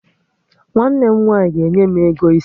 Nwanne m nwaanyị ga-enye m ego isi